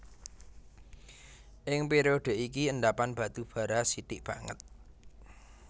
Ing période iki endhapan batu bara sithik banget